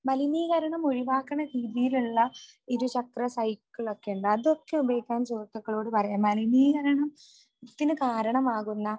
മലിനീകരണം ഒഴിവാക്കണ രീതിയിലുള്ള ഇരുചക്ര സൈക്കിൾ ഒക്കെയുണ്ട് അതൊക്കെ ഉപയോഗിക്കാൻ സുഹൃത്തുക്കളോട് പറയാം. മലിനീകരണത്തിന് കാരണമാകുന്ന